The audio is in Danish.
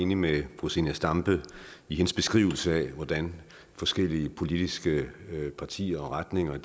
enig med fru zenia stampe i hendes beskrivelse af hvordan forskellige politiske partier og retninger